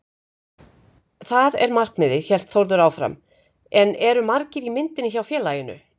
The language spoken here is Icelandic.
Það er markmiðið, hélt Þórður áfram en eru margir í myndinni hjá félaginu?